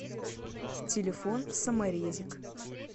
телефон саморезик